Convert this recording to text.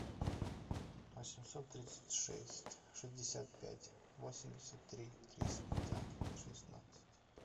восемьсот тридцать шесть шестьдесят пять восемьдесят три триста шестнадцать